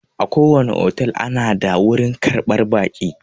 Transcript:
Akowane otel ana da wurin karɓar baƙi.